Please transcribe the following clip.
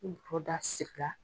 Nin bɔrɔda siri la.